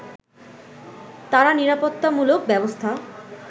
তারা নিরাপত্তামূলক ব্যবস্থা